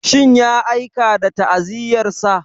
Shin ya aika da ta'aziyyarsa?